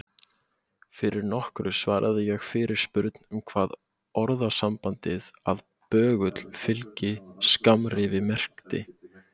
Fyrir nokkru svaraði ég fyrirspurn um hvað orðasambandið að böggull fylgi skammrifi merkti.